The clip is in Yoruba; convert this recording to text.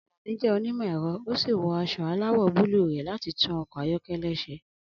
Alani jẹ́ onímọ̀ ẹ̀rọ ó sì wọ aṣọ aláwọ̀ búlúù rẹ̀ láti tún ọkọ̀ ayọ́kẹ́lẹ́ ṣe.